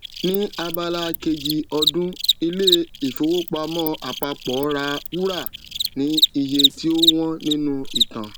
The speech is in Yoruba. ni abala kejì ọdún ilé ìfowópamọ àpapọ ra wúrà ní iye tí ó wón nínú ìtàn